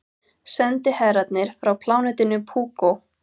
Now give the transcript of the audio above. Sendiherrarnir frá plánetunni Púkó.